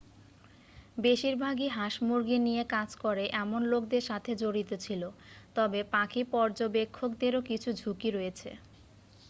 বেশিরভাগই হাঁস-মুরগী নিয়ে কাজ করে এমন লোকদের সাথে জড়িত ছিল তবে পাখি পর্যবেক্ষকদেরও কিছু ঝুঁকিও রয়েছে